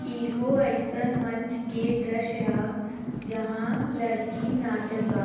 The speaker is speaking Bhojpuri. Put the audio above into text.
एगो ऐसन मंच के दृश्य ह जहाँ लड़की नाचत बा।